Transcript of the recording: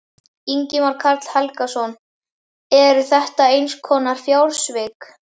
Ingimar Karl Helgason: Eru þetta einhvers konar fjársvik?